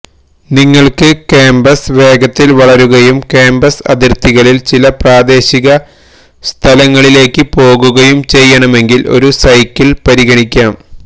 നിങ്ങൾക്ക് കാമ്പസ് വേഗത്തിൽ വളരുകയും കാമ്പസ് അതിർത്തികളിൽ ചില പ്രാദേശിക സ്ഥലങ്ങളിലേക്ക് പോകുകയും ചെയ്യണമെങ്കിൽ ഒരു സൈക്കിൾ പരിഗണിക്കാം